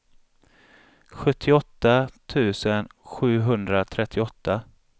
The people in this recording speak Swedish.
sjuttioåtta tusen sjuhundratrettioåtta